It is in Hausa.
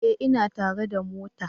Ee, ina tare da mota